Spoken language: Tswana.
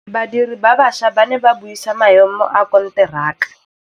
Badiri ba baša ba ne ba buisa maêmô a konteraka.